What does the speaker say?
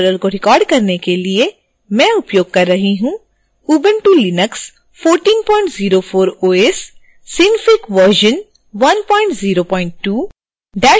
इस tutorial को record करने के लिए मैं उपयोग कर रही हूँ